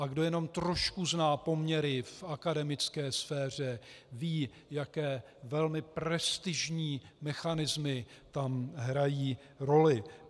A kdo jenom trošku zná poměry v akademické sféře, ví, jaké velmi prestižní mechanismy tam hrají roli.